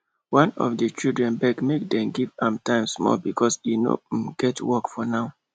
one of the children beg make dem give am time small because e no um get work for now